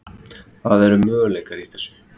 Það eru möguleikar í þessu.